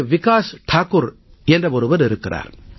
விகாஸ் தாக்கூர் என்ற ஒருவர் இருக்கிறார்